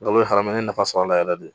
n ye nafa sɔrɔ a la yɛrɛ yɛrɛ de